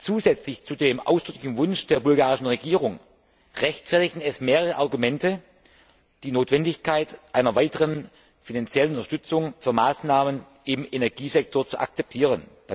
Zusätzlich zu dem ausdrücklichen Wunsch der bulgarischen Regierung rechtfertigen es mehrere Argumente, die Notwendigkeit einer weiteren finanziellen Unterstützung für Maßnahmen im Energiesektor zu akzeptieren.